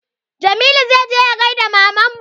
Jamilu zai je ya gaida mamanmu